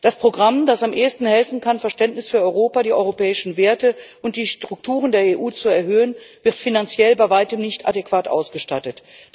Das Programm, das am ehesten helfen kann, Verständnis für Europa, die europäischen Werte und die Strukturen der EU zu erhöhen, wird finanziell bei weitem nicht adäquat ausgestattet.